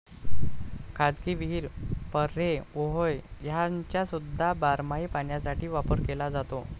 खाजगी विहीर, पऱ्हे, ओहोळ ह्यांचासुद्धा बारमाही पाण्यासाठी वापर केला जातो.